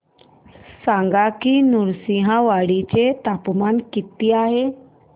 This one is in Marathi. सांगा की नृसिंहवाडी चे तापमान किती आहे